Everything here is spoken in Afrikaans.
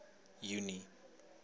junie